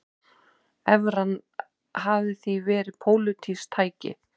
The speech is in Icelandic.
Evran hafi því verið pólitískt tæki